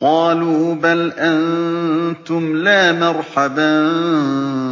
قَالُوا بَلْ أَنتُمْ لَا مَرْحَبًا